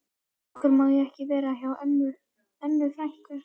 Af hverju má ég ekki vera hjá Önnu frænku?